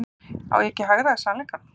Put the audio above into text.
Er ég ekki að hagræða sannleikanum?